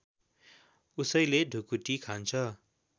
उसैले ढुकुटी खान्छ